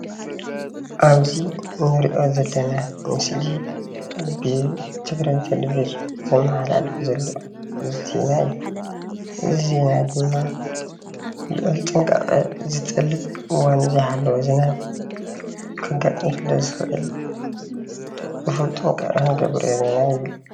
ኣብዚ እንራኦ ዘለና ምስሊ ብትግራይ ቴሌቭዥን ዝመሓላለፍ ዘሎ ዜና እዩ። እዚ ዜና ድማ ሉዑል ጥንቃቀ ዝጠልብ እዋኑ ዘይሓለወ ዝናብ ከጋጥም ሰለ ዝኽእል እኹል ጥንቃቀ ክንገብር ኣለና ይብል።